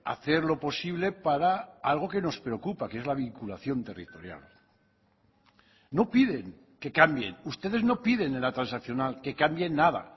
hacer lo posible para algo que nos preocupa que es la vinculación territorial no piden que cambien ustedes no piden en la transaccional que cambien nada